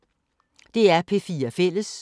DR P4 Fælles